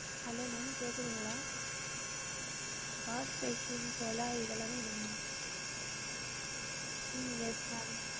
Hello ma'am கேக்குதுங்களா wash basin குழாய் இதெல்லாம் வேணும் ma'am ஹம் yes ma'am